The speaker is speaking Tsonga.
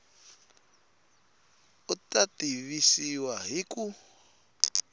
u ta tivisiwa hi ku